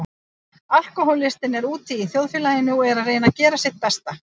Alkohólistinn er úti í þjóðfélaginu og er að reyna að gera sitt besta.